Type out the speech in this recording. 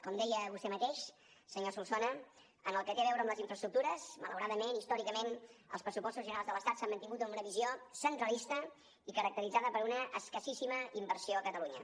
com deia vostè mateix senyor solsona en el que té a veure amb les infraestructures malauradament històricament els pressupostos generals de l’estat s’han mantingut amb una visió centralista i caracteritzada per una escassíssima inversió a catalunya